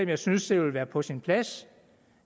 jeg synes det ville være på sin plads